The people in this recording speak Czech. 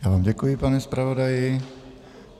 Já vám děkuji, pane zpravodaji.